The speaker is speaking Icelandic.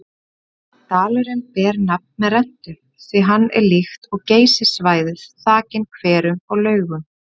Dalurinn ber nafn með rentu því hann er líkt og Geysissvæðið þakinn hverum og laugum.